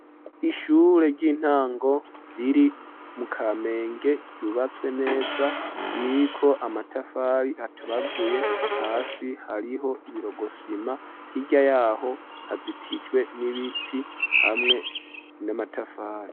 Ishure ry'intango riri mu kamenge ,ryubatswe neza ririko amatafari atabaguye ,hasi hariho ibirogosima hirya yaho hazitizwe n'ibiti hamwe n'amatafari.